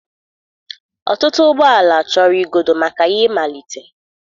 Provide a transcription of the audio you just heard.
Ọtụtụ ụgbọ ala chọrọ igodo maka ya ịmalite.